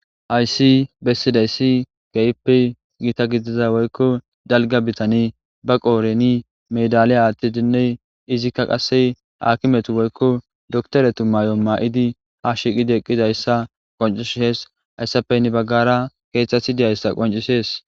Hayssi bessidayssi keyppe gita gidiza woykko dalga bitani ba qooreni medaliya aattidinne izikka qasse hakimetu woykko doktoretu maayo ma7idi ha shiqidi eqqidayssa qoncishees hayssapeynni baggara keeththathi deyayssa qoncisees